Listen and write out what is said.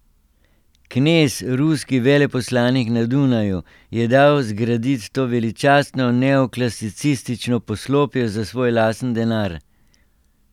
Knez, ruski veleposlanik na Dunaju, je dal zgradit to veličastno neoklasicistično poslopje za svoj lastni denar.